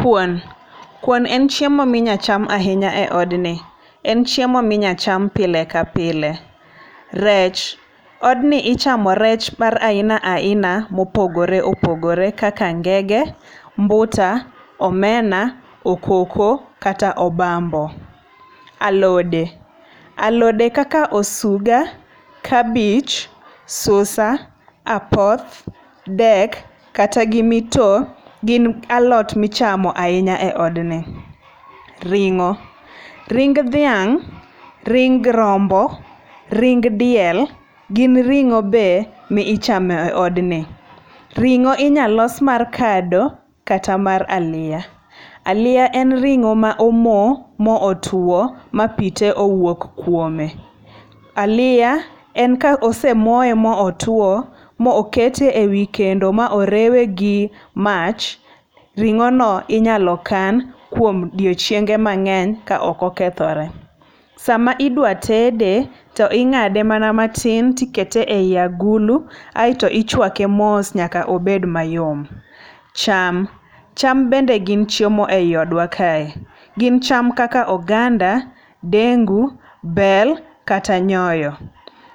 Kuon. Kuon en chiemo ma inyalo cham ahinya e odni. En chiemo ma inyalo cham pile ka pile. Rech. Odni ichamo rech mar aina aina mopogore opogore kaka ngege, mbuta, omena, okoko kata obambo. Alode. Alode kaka osuga, kabich, susa, apoth, dek, kata gi mito gin alot ma ichamo ahinya e odni. Ringo. Ring dhiang', ring rombo, ring diel gin ringó be michamo e odni. Ringó inyalo los mar kado kata mar aliya. Aliya en ringó ma omo, mo otwo, ma pi te owuok kuome. Aliya, en ka osemoye ma otwoo, ma okete e wi kendo ma orewe gi mach, ringó no inyalo kan kuom odiechienge mangény ka ok okethore. Sama idwa tede, to ingáde mana tin to ikete ei agulu aeto ichwake mos nyaka obed mayom. Cham. Cham bende gin chiemo ei odwa kae. Gin chama kaka oganda, dengu, bel, kata nyoyo.